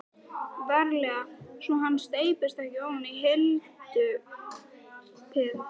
VARLEGA svo hann steypist ekki ofan í hyldýpið.